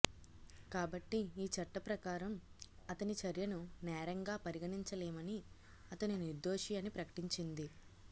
కాబట్టి ఈ చట్ట ప్రకారం అతని చర్యను నేరంగా పరిగణించలేమని అతను నిర్దోషి అని ప్రకటించింది